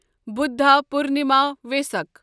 بُدھا پورنما یا وسک